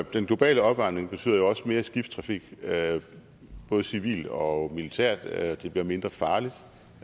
den globale opvarmning betyder jo også mere skibstrafik både civil og militær det bliver mindre farligt